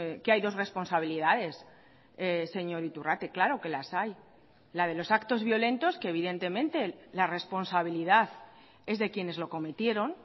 que hay dos responsabilidades señor iturrate claro que las hay la de los actos violentos que evidentemente la responsabilidad es de quienes lo cometieron